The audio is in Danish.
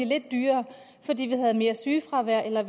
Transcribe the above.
lidt dyrere fordi man havde mere sygefravær eller